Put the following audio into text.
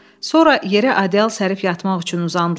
Sonra yerə adyal sərib yatmaq üçün uzandılar.